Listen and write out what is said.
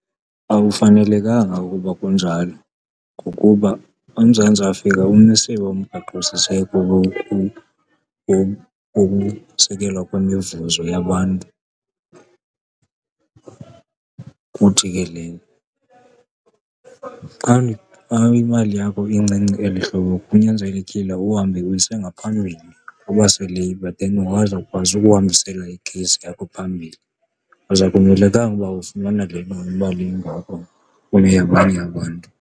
Akufanelekanga ukuba kunjalo ngokuba uMzantsi Afrika umisiwe umgaqosiseko wokusekelwa kwemivuzo yabantu. Kuthi ke xa, xa imali yakho incinci eli hlobo kunyanzelekile uhambe uyise ngaphambili kwabaseLabour then bazokwazi ukuhambisela i-case yakho phambili, because akumelekanga uba ufumana le mali ingako kuneyabanye abantu.